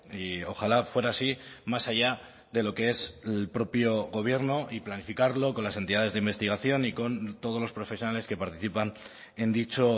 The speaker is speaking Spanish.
y ojalá fuera así más allá de lo que es el propio gobierno y planificarlo con las entidades de investigación y con todos los profesionales que participan en dicho